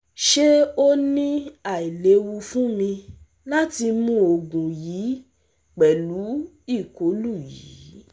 Ṣe o ni ailewu fun mi lati mu oogun yii pẹlu ikolu yii?